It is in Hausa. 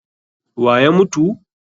Wa ya mutu?